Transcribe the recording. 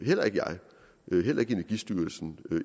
heller ikke jeg heller ikke energistyrelsen